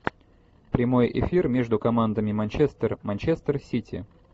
прямой эфир между командами манчестер манчестер сити